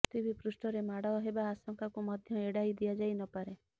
ପୃଥିବୀ ପୃଷ୍ଠରେ ମାଡ ହେବା ଆଶଙ୍କାକୁ ମଧ୍ୟ ଏଡାଇ ଦିଆଯାଇନପାରେ